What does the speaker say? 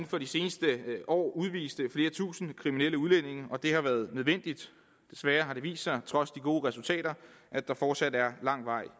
for de seneste år udvist flere tusinde kriminelle udlændinge og det har været nødvendigt desværre har det vist sig trods de gode resultater at der fortsat er lang vej